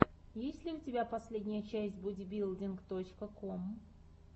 есть ли у тебя последняя часть бодибилдинг точка ком